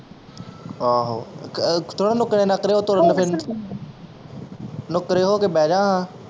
ਆਹੋ ਥੋੜੇ ਨੁੱਕਰੇ ਨਕਰੇ ਓਹ ਤੁਰਨ ਫਿਰਨ ਨੁੱਕਰੇ ਹੋ ਕੇ ਬਹਿ ਜਾਂ ਖਾਂ